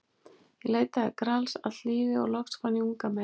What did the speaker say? Ég leitaði Grals allt lífið og loks fann ég unga mey.